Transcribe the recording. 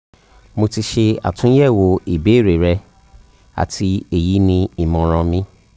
mo ti ṣe atunyẹwo ibeere rẹ ati eyi ni imọran mi